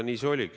Nii see oligi.